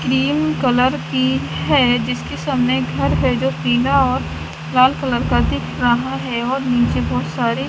cream colour की है जिसके सामने घर है जो पीला और लाल कलर का दिख रहा है और नीचे बहुत सारे --